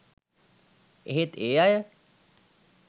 ඒහෙත්ඒ අය